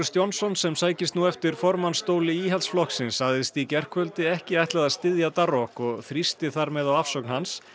Johnson sem sækist nú eftir formannsstóli Íhaldsflokksins sagðist í gærkvöldi ekki ætla að styðja Darroch og þrýsti þar með á afsögn hans